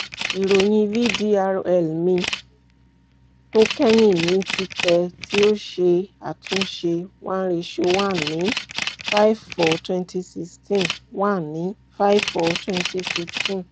iroyin vdrl mi to kẹhin ni titẹ ti o ṣe atunṣe one: one ni five / four / twenty sixteen one ni five / four / twenty sixteen